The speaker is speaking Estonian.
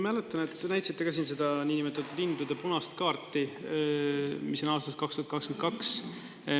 Ma mäletan, et te näitasite ka siin seda niinimetatud lindude punast kaarti, mis on aastast 2022.